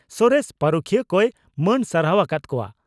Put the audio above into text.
ᱥᱚᱨᱮᱥ ᱯᱟᱹᱨᱩᱠᱷᱤᱭᱟᱹ ᱠᱚᱭ ᱢᱟᱹᱱ ᱥᱟᱨᱦᱟᱣ ᱟᱠᱟᱫ ᱠᱚᱣᱟ ᱾